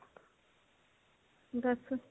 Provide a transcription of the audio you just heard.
ਦੱਸ